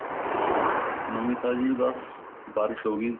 ਨਵੀਂ ਤਾਜੀ ਬੱਸ ਬਾਰਿਸ਼ ਹੋ ਗਈ